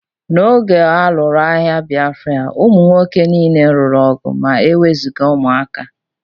N'oge a lụrụ agha Bịafra, ụmụ nwoke niile lụrụ ọgụ ma e wezụga ụmụaka